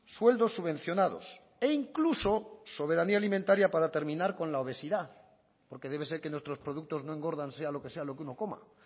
sueldos subvencionados e incluso soberanía alimentaria para terminar con la obesidad porque debe ser que nuestros productos no engordan sea lo que sea lo que uno coma